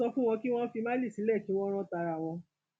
ẹ sọ fún wọn kí wọn fi málì sílẹ kí wọn rán tara wọn